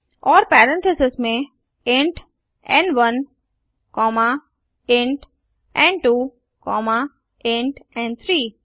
और पेरेंथीसेस में int n one comma int n two comma int एन3